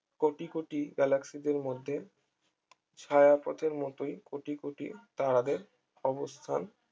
কোটি কোটি গ্যালাক্সিদের মধ্যে ছায়াপথের মতোই কোটি কোটি তারাদের অবস্থান